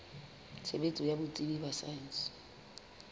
tshebetso ya botsebi ba saense